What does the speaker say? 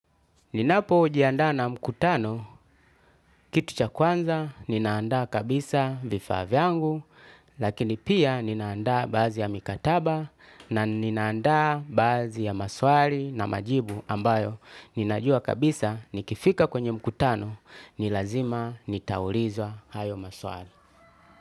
Ninapojiandaa na mkutano kitu cha kwanza ninaandaa kabisaa vifaa vyangu lakini pia ninaanda baazi ya mikataba na ninaanda baazi ya maswali na majibu ambayo ninajua kabisa nikifika kwenye mkutano ni lazima nitaulizwa hayo maswali.